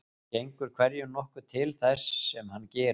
Gengur hverjum nokkuð til þess sem hann gerir.